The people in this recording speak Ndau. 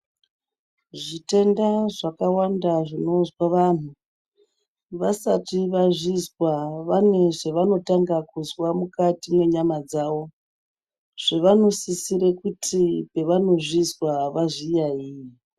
Zvitenda zvakawanda zvinozwa vantu, vasati vazvizwa vane zvavanotanga kuzwa mukati mwenyama dzavo zvavanosisira kuti pavanozvizwa vazviyaiye.